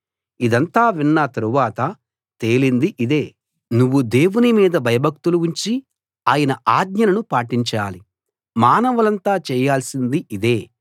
ఇదంతా విన్న తరువాత తేలింది ఇదే నువ్వు దేవుని మీద భయభక్తులు ఉంచి ఆయన ఆజ్ఞలను పాటించాలి మానవులంతా చేయాల్సింది ఇదే